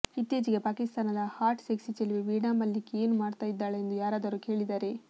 ಇತ್ತೀಚೆಗೆ ಪಾಕಿಸ್ತಾನದ hot sexy ಚೆಲುವೆ ವೀಣಾ ಮಲ್ಲಿಕ್ ಏನ್ ಮಾಡ್ತಾ ಇದ್ದಾಳೆ ಎಂದು ಯಾರಾದರೂ ಕೇಳಿದರೆ